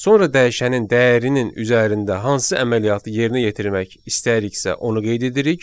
sonra dəyişənin dəyərinin üzərində hansı əməliyyatı yerinə yetirmək istəyiriksə, onu qeyd edirik.